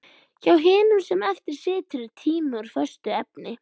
Hjá hinum sem eftir situr er tíminn úr föstu efni.